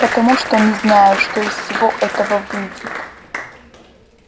потому что не знаю что из всего этого выйдет